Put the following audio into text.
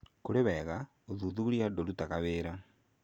Kũrĩ wega, Ũthuthuria ndũrutaga wĩra.